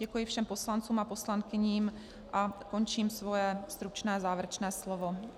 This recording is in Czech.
Děkuji všem poslancům a poslankyním a končím svoje stručné závěrečné slovo.